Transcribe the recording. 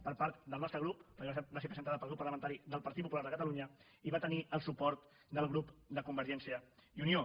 per part del nostre grup va ser presentada pel grup parlamentari del partit popular de catalunya i va tenir el suport del grup de convergència i unió